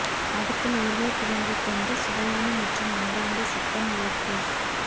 அடுப்பில் உருளைக்கிழங்கு கொண்டு சுவையான மற்றும் அன்பார்ந்த சிக்கன் லெக் பீஸ்